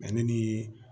Mɛ ne ni